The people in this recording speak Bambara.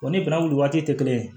O ni bɛnnɛ wuli waati tɛ kelen ye